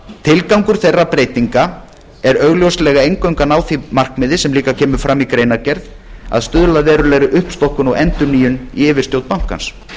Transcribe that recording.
tilgangur þeirra breytinga er augljóslega eingöngu að ná því markmiði sem líka kemur fram í greinargerð að stuðla að verulegri uppstokkun og endurnýjun í yfirstjórn bankans